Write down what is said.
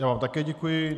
Já vám také děkuji.